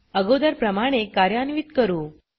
अगोदर प्रमाणे कार्यान्वीत करू